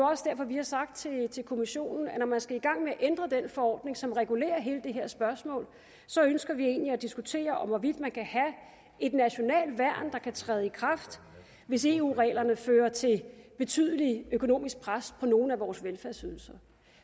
også derfor vi har sagt til kommissionen at når man skal i gang med at ændre den forordning som regulerer hele det her spørgsmål så ønsker vi egentlig at diskutere hvorvidt man kan have et nationalt værn der kan træde i kraft hvis eu reglerne fører til betydeligt økonomisk pres på nogle af vores velfærdsydelser